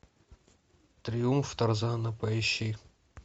триумф тарзана поищи